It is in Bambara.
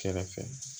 Kɛrɛfɛ